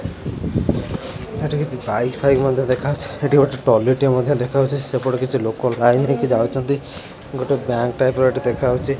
ଏଠି କିଛି ପାଇପ୍ ଫାଇପ୍ ମଧ୍ଯ ଦେଖାଯାଉଛି ଏଠି ଗୋଟେ ଟଲି ଟିଏ ମଧ୍ୟ ଦେଖାହୋଉଛି ସେପଟେ କିଛି ଲୋକ ଲାଇନ୍ ହେଇକି ଯାଉଛନ୍ତି ଗୋଟେ ବ୍ୟାଙ୍କ୍ ଟାଇପ୍ ଏଠି ଦେଖାହୋଉଛି।